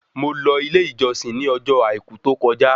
Mo lọ ilé ìjọsìn ní ọjọ́ àìkú tó kọjá